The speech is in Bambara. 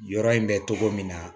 Yɔrɔ in bɛ cogo min na